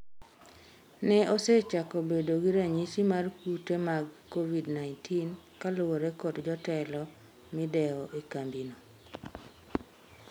ne osechako bedo gi ranyisi mar kute kag covid-19 kaluwore kod jotelo midewo e kambino